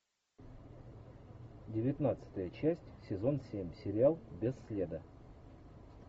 девятнадцатая часть сезон семь сериал без следа